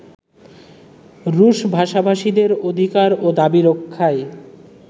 রুশভাষাভাষীদের অধিকার ও দাবি রক্ষায়